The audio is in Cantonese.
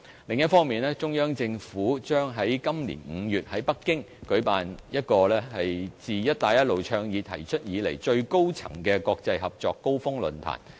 另一方面，中央政府將在今年5月在北京舉辦自"一帶一路"倡議提出以來最高層次的國際合作高峰論壇。